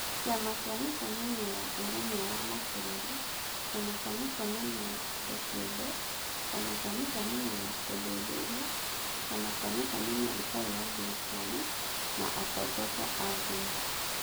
Kĩama kĩa mĩcemanio ya Ũrũmwe wa Mabũrũri, Kĩama kĩa mĩcemanio ya andũ kĩũmbe, Kĩama kĩa mĩcemanio ya ũthuthuria, Kĩama kĩa mĩcemanio ĩtarĩ ya thirikari, na atongoria a ndini.